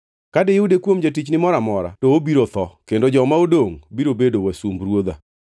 Ka diyude kuom jatichni moro amora, to obiro tho; kendo joma odongʼ biro bedo wasumb ruodha.”